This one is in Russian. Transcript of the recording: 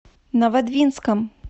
новодвинском